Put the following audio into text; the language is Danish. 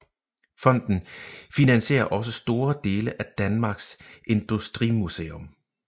Fonden finansierer også store dele af Danmarks Industrimuseum